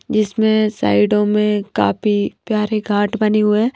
जिसमें साइडों में काफी प्यारे घाट बनी हुए हैं।